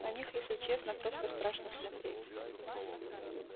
на них если честно просто страшно смотреть